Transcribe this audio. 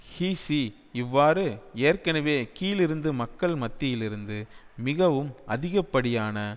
ஹீசி இவ்வாறு ஏற்கனவே கீழிருந்து மக்கள் மத்தியிலிருந்து மிகவும் அதிகப்படியான